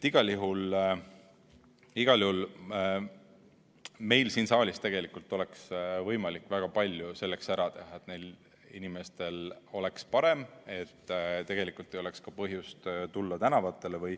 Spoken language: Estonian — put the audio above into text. Igal juhul meil siin saalis oleks võimalik väga palju selleks ära teha, et neil inimestel oleks parem, et ei oleks ka põhjust tulla tänavatele.